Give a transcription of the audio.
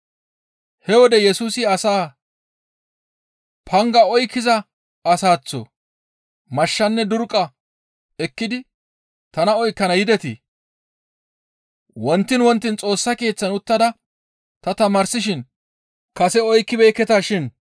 He wode Yesusi asaa, «Panga oykkiza asaththo mashshanne durqqa ekkidi tana oykkana yidetii? Wontiin wontiin Xoossa Keeththan uttada ta tamaarsishin kase oykkibeekketa shin.